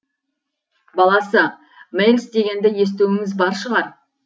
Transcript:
баласы мэлс дегенді естуіңіз бар шығар